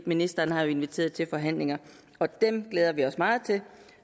ministeren har inviteret til forhandlinger og dem glæder vi os meget til